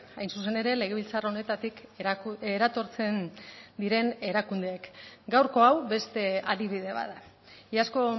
hain zuzen ere legebiltzar honetatik eratortzen diren erakundeek gaurko hau beste adibide bat da iazko